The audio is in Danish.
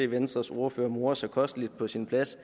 venstres ordfører morer sig kosteligt på sin plads